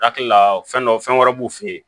Hakili la fɛn dɔ fɛn wɛrɛ b'u fe yen